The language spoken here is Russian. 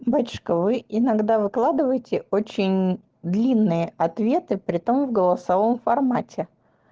батюшка вы иногда выкладывайте очень длинные ответы притом в голосовом формате